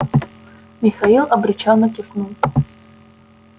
михаил обречённо кивнул